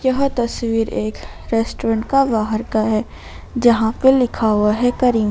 यह तस्वीर एक रेस्टोरेंट का बाहर का है जहां पे लिखा हुआ है करीम।